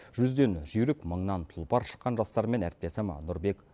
жүзден жүйрік мыңнан тұлпар шыққан жастармен әріптесім нұрбек